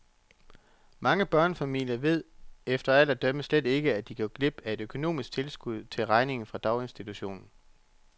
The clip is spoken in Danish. Mange børnefamilier véd efter alt at dømme slet ikke, at de går glip af et økonomisk tilskud til regningen fra daginstitutionen.